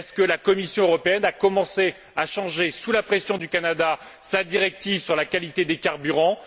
La Commission européenne a t elle commencé à changer, sous la pression du Canada, sa directive sur la qualité des carburants?